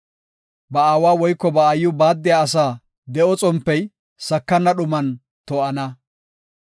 Ba aawa woyko ba aayiw baaddiya asa, de7o xompey sakana dhuman to7ana.